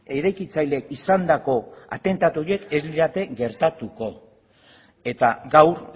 eraikitzaile izandako atentatu horiek ez lirateke gertatutako eta gaur